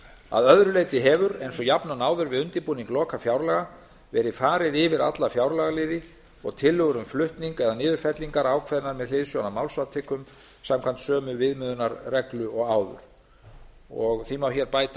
að öðru leyti hefur eins og jafnan áður við undirbúning lokafjárlaga verið farið yfir alla fjárlagaliði og tillögur um flutning og niðurfellingar ákveðnar með hliðsjón af málsatvikum samkvæmt sömu viðmiðunarreglu og áður því má hér bæta